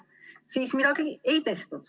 Siis midagi ei tehtud.